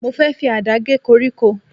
Mo fẹ́ fi Àdá gé koríko.